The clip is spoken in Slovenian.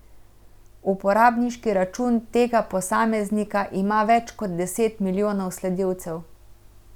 Uporabniški račun tega posameznika ima več kot deset milijonov sledilcev.